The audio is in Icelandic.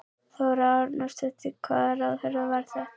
Þóra Arnórsdóttir: Hvaða ráðherra var þetta?